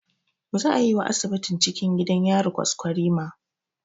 Zaa yi wa asibitin cikin gidan yari kwaskwarima